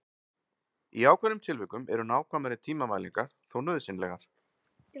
Í ákveðnum tilvikum eru nákvæmari tímamælingar þó nauðsynlegar.